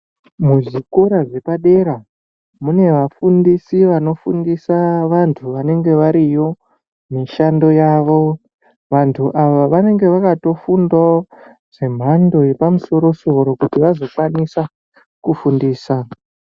Muzvikora zvepadera munevafundisi vanofundisa vantu vanenge variyo mishando yavo. Vantu ava vanenge vakatofundira fundo dzemhando yepamusoro-soro kuti vazokwanisa kufundisa.